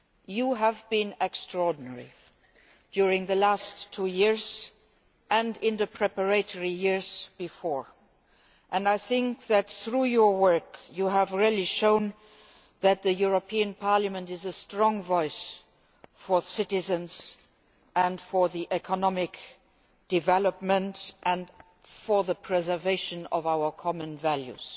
You have been extraordinary during the last two years and in the preparatory years before, and I think that through your work you have really shown that the European Parliament is a strong voice for citizens and for economic development and the preservation of our common values.